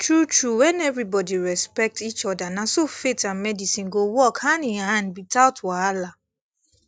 true true when everybody respect each other na so faith and medicine go work handinhand without wahala